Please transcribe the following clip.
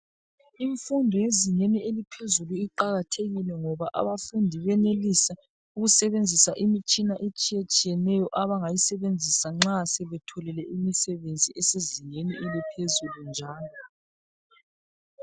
Imfundo yezingeni eliphezulu iqakathekile ngoba abafundi benelisa ukusebenzisa imitshina etshiyetshiyeneyo abangayisebenzisa nxa sebetholile imisebenzi esezingeni eliphezulu njalo.